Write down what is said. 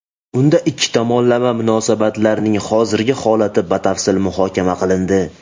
Unda ikki tomonlama munosabatlarning hozirgi holati batafsil muhokama qilindi.